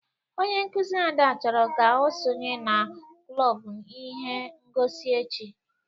Onye nkuzi Ada chọrọ ka o sonye n'klob ihe ngosi echi.